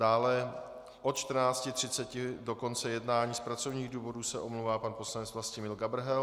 Dále od 14.30 do konce jednání z pracovních důvodů se omlouvá pan poslanec Vlastimil Gabrhel.